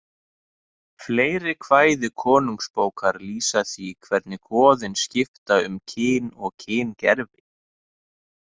Fleiri kvæði Konungsbókar lýsa því hvernig goðin skipta um kyn og kyngervi.